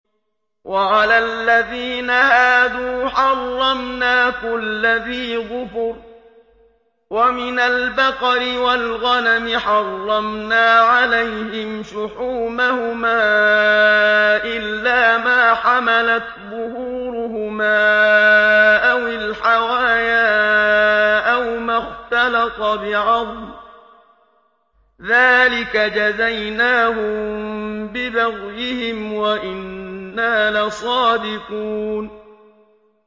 وَعَلَى الَّذِينَ هَادُوا حَرَّمْنَا كُلَّ ذِي ظُفُرٍ ۖ وَمِنَ الْبَقَرِ وَالْغَنَمِ حَرَّمْنَا عَلَيْهِمْ شُحُومَهُمَا إِلَّا مَا حَمَلَتْ ظُهُورُهُمَا أَوِ الْحَوَايَا أَوْ مَا اخْتَلَطَ بِعَظْمٍ ۚ ذَٰلِكَ جَزَيْنَاهُم بِبَغْيِهِمْ ۖ وَإِنَّا لَصَادِقُونَ